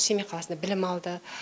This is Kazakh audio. семей қаласында білім алды